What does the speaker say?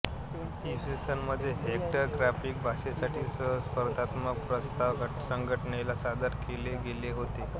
इ स मध्ये vector graphic भाषेसाठी सहा स्पर्धात्मक प्रस्ताव संघटनेला सादर केले गेले होते